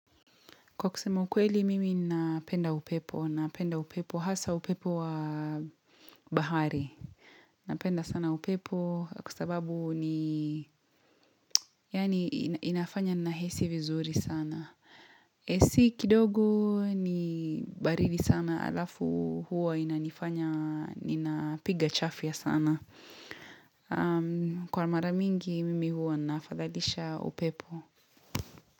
Kwa kusema ukweli mimi napenda upepo, napenda upepo hasa upepo wa bahari. Napenda sana upepo kwasababu ni, yani inafanya nahisi vizuri sana. AC kidogo ni baridi sana alafu huwa inanifanya, ninapiga chafia sana. Kwa mara mingi mimi huwa na afadhalisha upepo.